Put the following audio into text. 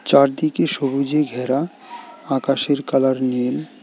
চারদিকে সবুজে ঘেরা আকাশের কালার নীল।